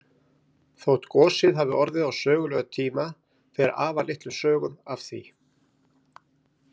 Þótt gosið hafi orðið á sögulegum tíma fer afar litlum sögum af því.